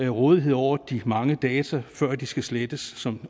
rådighed over de mange data før de skal slettes som